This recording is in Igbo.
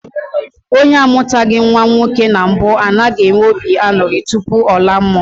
Onye amụtaghị nnwa nwoke na mbụ anaghị enwe obi aṅụrị tupu ọ laa mmụọ